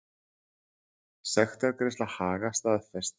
Sektargreiðsla Haga staðfest